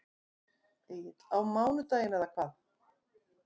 Egill: Á mánudaginn eða hvað?